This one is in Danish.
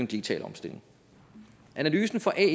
digitale omstilling analysen fra ae